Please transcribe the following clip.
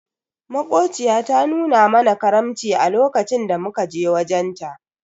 Makociya ta nuna mana karamci a lokacin da muka je wajen ta.